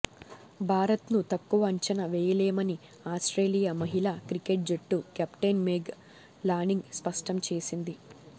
భారత్ను తక్కువ అంచనా వేయలేమని ఆస్ట్రేలియా మహిళా క్రికెట్ జట్టు కెప్టెన్ మెగ్ లానింగ్ స్పష్టం చేసింది